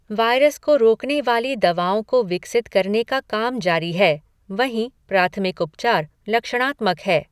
Virus को रोकने वाली दवाओं को विकसित करने का काम जारी है, वहीं प्राथमिक उपचार लक्षणात्मक है।